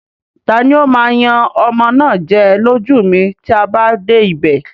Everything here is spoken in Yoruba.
Tani ó máa yan ọmọ náà jẹ lójú mi tí a bá dé ibè?